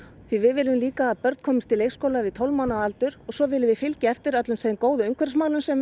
því við viljum að börn komist í leikskóla við tólf mánaða aldur svo viljum við fylgja eftir öllum þeim góðu umhverfismálum sem